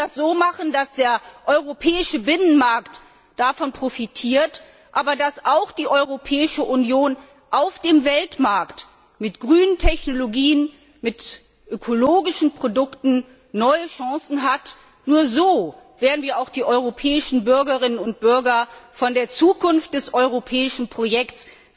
Wir müssen das so machen, dass der europäische Binnenmarkt davon profitiert, aber dass auch die Europäische Union auf dem Weltmarkt mit grünen Technologien, mit ökologischen Produkten neue Chancen hat. Nur so werden wir auch die europäischen Bürgerinnen und Bürger von der Zukunft des europäischen Projekts